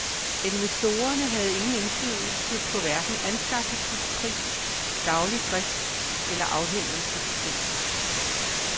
Investorerne havde ingen indflydelse på hverken anskaffelsespris, daglig drift eller afhændelsespris.